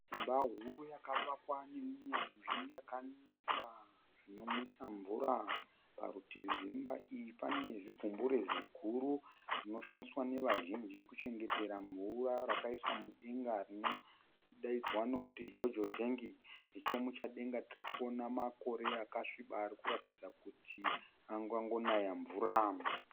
Imba huru yakavakwa nehunyanzvi yakanaka zvinomwisa mvura. Parutivi rwemba iyi pane zigumbure ziguru rinoshandiswa nevazhinji kuchengetera mvura rakaiswa mudenga rinodaidzwa nokuti Jojo tank. Nechemuchadenga tirikuona makore akasviba arikuratidza kuti angangonaya mvura .